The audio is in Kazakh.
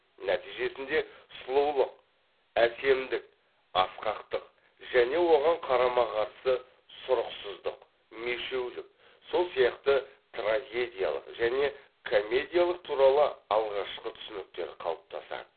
нәтижесінде сұлулык әсемдік аскақтык және оған қарама қарсы сұрықсыздық мешеулік сол сияқты трагедиялық жөне комедиялық туралы алғашқы түсініктер қалыптасады